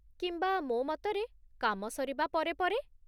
କିମ୍ବା, ମୋ ମତରେ, କାମ ସରିବା ପରେ ପରେ।